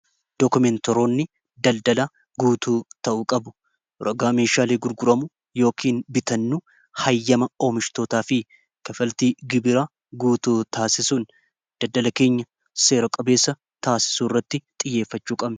dookumentoroonni daldalaa guutuu ta'uu qabu rogaa meeshaalii gurguramu yookin bitannu hayyama oomishtootaa fi kafaltii gibiraa guutuu taasisuun daldalakeenya seera-qabeessa taasisu irratti xiyyeeffachuu qabe